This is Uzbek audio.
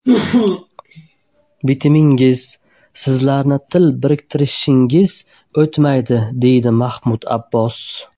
Bitimingiz, sizlarning til biriktirishingiz o‘tmaydi”, deydi Mahmud Abbos.